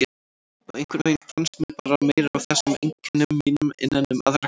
Og einhvern veginn fannst mér bera meira á þessum einkennum mínum innan um aðra krakka.